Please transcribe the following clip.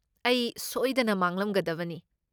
ꯑꯩ ꯁꯣꯏꯗꯅ ꯃꯥꯡꯂꯝꯒꯗꯕꯅꯤ ꯫